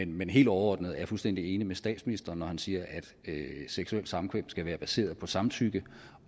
men helt overordnet er jeg fuldstændig enig med statsministeren når han siger at seksuelt samkvem skal være baseret på samtykke